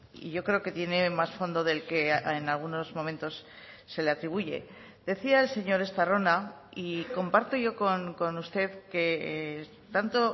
y yo creo que tiene más fondo del que en algunos momentos se le atribuye decía el señor estarrona y comparto yo con usted que tanto